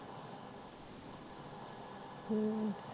ਹਮ